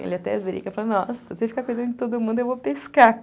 Ele até brinca, fala, nossa, se você ficar cuidando de todo mundo, eu vou pescar.